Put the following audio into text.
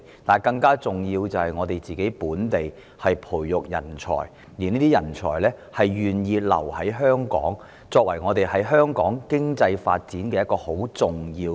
但更重要的是，我們要培育本地人才，並令這些人才願意留在香港，推動香港的經濟發展。